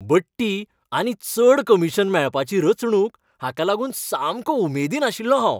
बडटी आनी चड कमिशन मेळपाची रचणूक हांकां लागून सामको उमेदीन आशिल्लों हांव.